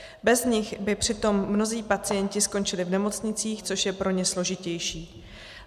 Bez nich by přitom mnozí pacienti skončili v nemocnicích, což je pro ně složitější.